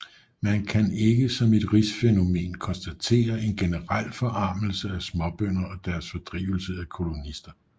Man kan ikke som et rigsfænomen konstatere en generel forarmelse af småbønder og deres fordrivelse af kolonister